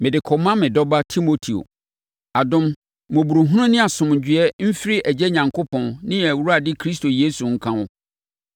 Mede kɔma me dɔba Timoteo: Adom, mmɔborɔhunu ne asomdwoeɛ mfiri Agya Onyankopɔn ne yɛn Awurade Kristo Yesu nka wo.